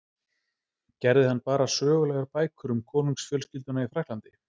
Gerði hann bara sögulegar bækur um konungsfjölskylduna í Frakklandi?